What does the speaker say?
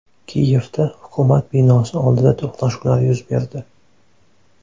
Kiyevda hukumat binosi oldida to‘qnashuvlar yuz berdi.